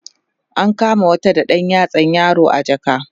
an kama wata da ɗan yatsan yaro a jaka